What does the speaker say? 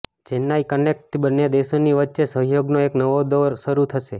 ચેન્નાઇ કનેક્ટથી બંને દેશોની વચ્ચે સહયોગનો એક નવો દોર શરૂ થશે